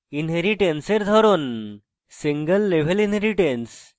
inheritance এর ধরন single level inheritance